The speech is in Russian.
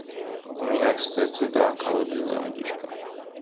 у меня кстати да колодезная водичка